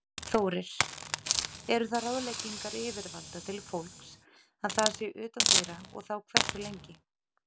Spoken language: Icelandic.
Þórir: Eru það ráðleggingar yfirvalda til fólks að það sé utandyra og þá hversu lengi?